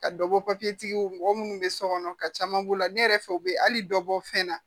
Ka dɔ bɔ papiyew mɔgɔ minnu bɛ so kɔnɔ ka caman b'o la ne yɛrɛ fɛ u bɛ hali dɔbɔ fɛn na